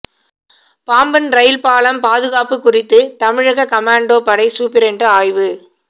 Pamban rail பாலம் பாதுகாப்பு குறித்து தமிழக கமாண்டோ படை சூப்பிரண்டு ஆய்வு